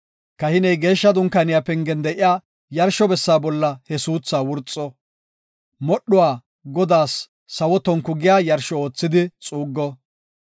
Kahiney Geeshsha Dunkaaniya pengen de7iya yarsho bessa bolla he suuthaa wurxo. Modhdhuwa Godaas sawo tonku giya yarsho oothidi xuuggo.